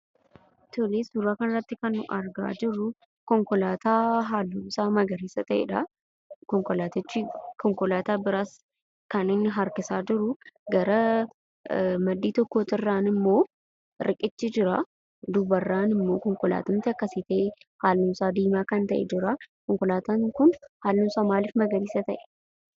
Tole, suuraa kanarratti, kan nuyi argaa jirruu, konkolaata dubni isaa magariisa ta'edha. konkolaatichi, konkolaata biras, kaninni harkisaa jiru, gara maddii tokko irraanimmo, riqichi jira. dubarranimmo konkolaatumti akkasi ta'e, halluun isaa diimaa kan ta'e jira. konkolaatan kun halluunsa maaliif magariisa ta'e?